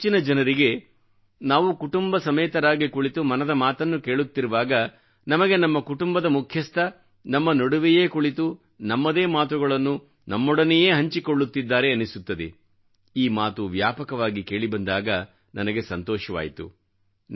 ಹೆಚ್ಚಿನ ಜನರಿಗೆ ನಾವು ಕುಟುಂಬ ಸಮೇತರಾಗಿ ಕುಳಿತು ಮನದ ಮಾತನ್ನು ಕೇಳುತ್ತಿರುವಾಗ ನಮಗೆ ನಮ್ಮ ಕುಟುಂಬದ ಮುಖ್ಯಸ್ಥ ನಮ್ಮ ನಡುವೆಯೇ ಕುಳಿತು ನಮ್ಮದೇ ಮಾತುಗಳನ್ನು ನಮ್ಮೊಡನೆಯೇ ಹಂಚಿಕೊಳ್ಳುತ್ತಿದ್ದಾರೆ ಅನಿಸುತ್ತದೆ ಈ ಮಾತು ವ್ಯಾಪಕವಾಗಿ ಕೇಳಿಬಂದಾಗ ನನಗೆ ಸಂತೋಷವಾಯಿತು